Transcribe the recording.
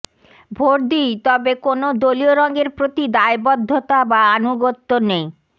vote দিই তবে কোনও দলীয় রঙের প্রতি দায়বদ্ধতা বা আনুগত্য নেই